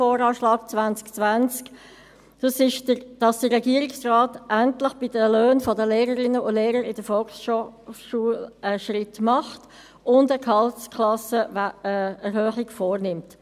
Er besteht darin, dass der Regierungsrat endlich bei den Löhnen der Lehrerinnen und Lehrer in der Volksschule einen Schritt macht und eine Gehaltsklassenerhöhung vornimmt.